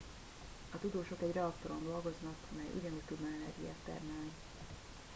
a tudósok egy reaktoron dolgoznak mely ugyanúgy tudna energiát termelni